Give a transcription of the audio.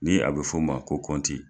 Ni a bɛ f'o ma ko kɔnti.